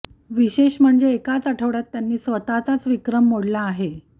विशेष म्हणजे एकाच आठवडय़ात त्यांनी स्वतःचाच विक्रम मोडला आहे